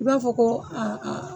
I b'a fɔ ko a a